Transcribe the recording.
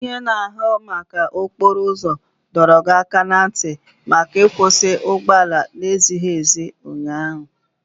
Onye na-ahụ maka okporo ụzọ dọrọ gị aka ná ntị maka ịkwusi ụgbọala na-ezighị ezi ụnyaahụ.